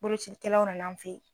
Bolocikɛlaw nan'an fɛ yen.